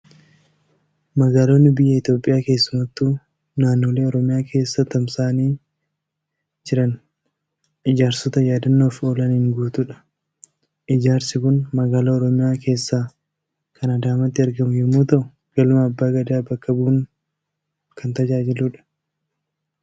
Magaalonni biyya Itoophiyaa, keessumattuu naannolee Oromiyaa keessa tamsa'anii jiran ijaarsota yaadannoof oolaniin guutuudha. Ijaarsi kun magaalaa Oromiyaa keessaa kan Adaamaatti argamu yommuu ta'u, galma Abbaa Gadaa bakka bu'uun kan tajaajiludha.